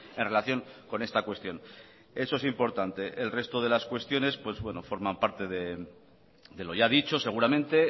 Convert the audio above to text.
en relación con esta cuestión eso es importante el resto de las cuestiones forman parte de lo ya dicho seguramente